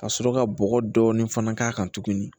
Ka sɔrɔ ka bɔgɔ dɔɔnin fana k'a kan tuguni